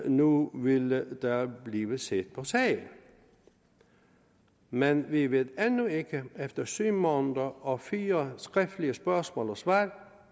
nu ville der blive set på sagen men vi ved endnu ikke efter syv måneder og fire skriftlige spørgsmål og svar